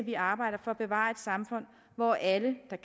vi arbejder for at bevare et samfund hvor alle der